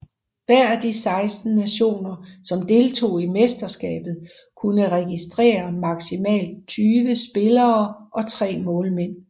Hver af de 16 nationer som deltog i mesterskabet kunne registrere maksimalt 20 spillere og tre målmænd